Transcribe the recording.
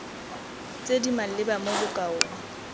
tse di maleba mo bokaong